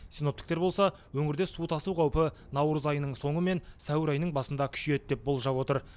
синоптиктер болса өңірде су тасу қаупі наурыз айының соңы мен сәуір айының басында күшейеді деп болжап отыр